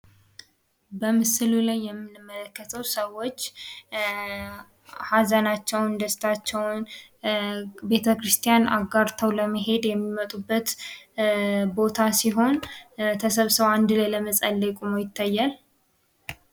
በምስሉ ላይ የምንመለከተው ሰዎች ሀዘናቸውን፣ ደስታቸውን ቤተክርስቲያን አጋርተው ለመሄድ የሚመጡበት ቦታ ሲሆን ተሰብስበው አንድ ላይ ለመጸለይ ቁመው ይታያል።